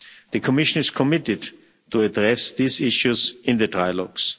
The Commission is committed to addressing these issues in the trilogues.